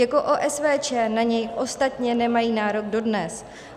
Jako OSVČ na něj ostatně nemají nárok dodnes.